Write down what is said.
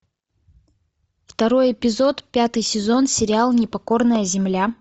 второй эпизод пятый сезон сериал непокорная земля